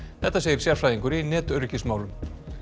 þetta segir sérfræðingur í netöryggismálum